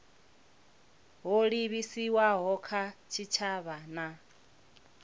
ho livhiswaho kha tshitshavha na